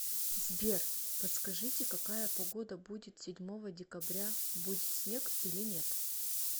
сбер подскажите какая погода будет седьмого декабря будет снег или нет